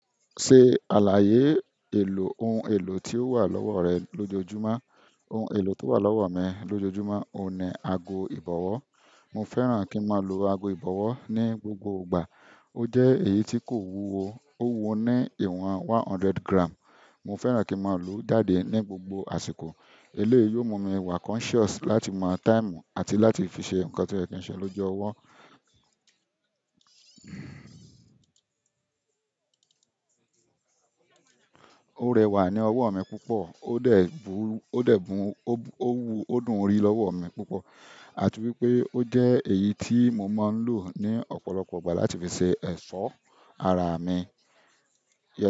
Ṣe àlàyé èlò, ohun èlò tí ó wà lọ́wọ́ rẹ lójoojúmọ́. Ohun èlò tó wà lọ́wọ́ mi lójoojúmọ́ òun ni aago ìbọ̀wọ́. Mo fẹ́ràn kí n máa lo aago ìbọ̀wọ́ ní gbogbo ìgbà. Ó jẹ́ èyí tí kò wúwo, ó wúwo ní ìwọ̀n one hundred gram. Mo fẹ́ràn kí n máa lòó jáde ní gbogbo àsìkò. Eléyìí yóò mu mi wa conscious láti mọ táìmù àti láti fi ṣe nǹkan tó yẹ kí n ṣe lójú ọwọ́. Ó rẹwà ní ọwọ́ mi púpọ̀, o dẹ̀ bu o dẹ̀ bun ó wu ó dùn rí lọ́wọ́ mi púpọ̀. Àti wípé o jẹ èyí tí mo máa ń lò ní ọ̀pọ̀lọpọ̀ ìgbà láti fi ṣe ẹ̀ṣọ́ ara mi.